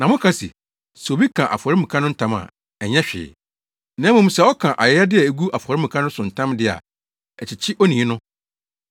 Na moka se, ‘Sɛ obi ka afɔremuka no ntam a, ɛnyɛ hwee. Na mmom, sɛ ɔka ayɛyɛde a egu afɔremuka no so ntam de a, ɛkyekye onii! no’